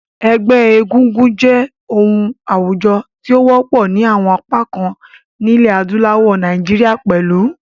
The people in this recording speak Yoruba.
Ẹgbẹ́ egúngún jẹ́ oun àwùjo ti o wọ́pọ̀ ni àwon apá kan nílẹ̀ adúláwò, Naijiria pẹ̀lu.